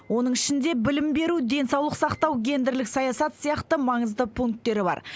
оның ішінде білім беру денсаулық сақтау гендерлік саясат сияқты маңызды пунктері бар